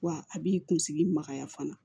Wa a b'i kunsigi magaya fana